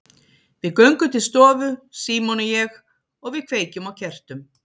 Við göngum til stofu, Símon og ég, og við kveikjum á kertum.